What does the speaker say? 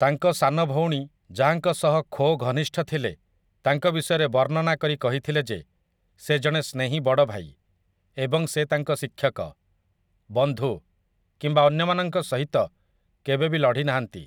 ତାଙ୍କ ସାନ ଭଉଣୀ, ଯାହାଙ୍କ ସହ ଖୋ ଘନିଷ୍ଠ ଥିଲେ, ତାଙ୍କ ବିଷୟରେ ବର୍ଣ୍ଣନା କରି କହିଥିଲେ ଯେ ସେ ଜଣେ ସ୍ନେହୀ ବଡ଼ ଭାଇ ଏବଂ ସେ ତାଙ୍କ ଶିକ୍ଷକ, ବନ୍ଧୁ କିମ୍ବା ଅନ୍ୟମାନଙ୍କ ସହିତ କେବେ ବି ଲଢି ନାହାନ୍ତି ।